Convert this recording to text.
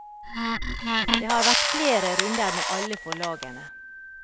Det har vært flere runder med alle forlagene.